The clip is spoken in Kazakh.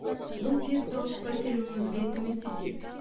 бұл тез қалыпқа келуіңізге көмектеседі